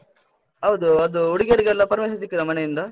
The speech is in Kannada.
ಹೌದೂ, ಅದು, ಹುಡ್ಗಿಯರಿಗೆಲ್ಲ permission ಸಿಕ್ಕಿದಾ ಮನೆಯಿಂದ?